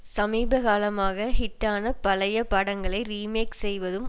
சமீப காலமாக ஹிட்டான பழைய படங்களை ரீமேக் செய்வதும்